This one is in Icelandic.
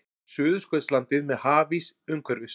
Suðurskautslandið með hafís umhverfis.